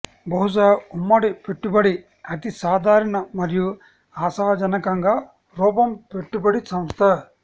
బహుశా ఉమ్మడి పెట్టుబడి అతి సాధారణ మరియు ఆశాజనకంగా రూపం పెట్టుబడి సంస్థ